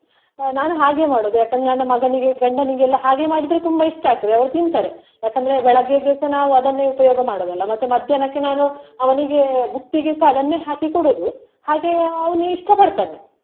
ಅಹ್ ನಾನು ಹಾಗೆ ಮಾಡುದು ಯಾಕಂದ್ರೆ ನನ್ನ ಮಗನಿಗೆ, ಗಂಡನಿಗೆಲ್ಲಾ ಹಾಗೆ ಮಾಡಿದ್ರೆ ತುಂಬಾ ಇಷ್ಟ ಆಗ್ತದೆ ಅವ್ರು ತಿಂತಾರೆ ಯಾಕಂದ್ರೆ ಬೆಳಿಗ್ಗೆಗೆ ಸಹ ನಾವು ಅದನ್ನೇ ಉಪಯೋಗ ಮಾಡುದಲಾ ಮತ್ತೆ ಮಧ್ಯಾಹ್ನಕ್ಕೆ ನಾನು ಅವನಿಗೆ ಬುತ್ತಿಗೆ ಸ ಅದನ್ನೇ ಹಾಕಿ ಕೊಡುದು ಹಾಗೆಯೇ ಅವ್ನು ಇಷ್ಟ ಪಡ್ತಾನೆ.